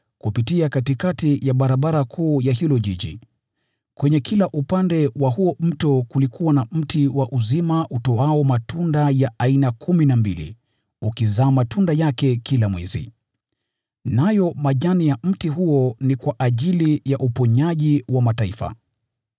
kupitia katikati ya barabara kuu ya huo mji. Kwenye kila upande wa huo mto kulikuwa na mti wa uzima utoao matunda ya aina kumi na mbili, ukizaa matunda yake kila mwezi. Nayo majani ya mti huo ni kwa ajili ya uponyaji wa mataifa.